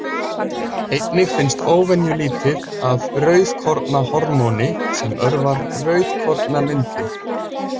Einnig finnst óvenjulítið af rauðkornahormóni sem örvar rauðkornamyndun.